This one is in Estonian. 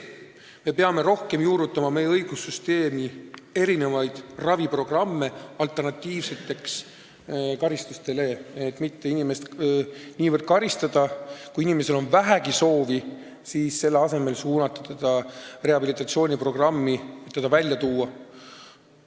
Me peame rohkem juurutama meie õigussüsteemis erinevaid raviprogramme karistuste alternatiivina, et inimest mitte niivõrd karistada, vaid kui tal on vähegi soovi, siis suunata ta rehabilitatsiooniprogrammi, et ta sellest olukorrast välja tuua.